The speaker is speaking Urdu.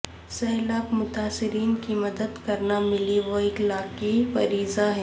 سیلاب متاثرین کی مدد کرنا ملی و اخلاقی فریضہ ہے